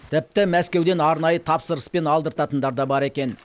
тіпті мәскеуден арнайы тапсырыспен алдыртатындар бар екен